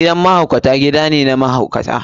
Gidan mahaukata gida ne na mahaukata.